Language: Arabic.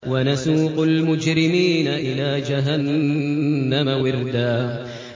وَنَسُوقُ الْمُجْرِمِينَ إِلَىٰ جَهَنَّمَ وِرْدًا